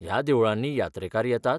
ह्या देवळांनी यात्रेकार येतात?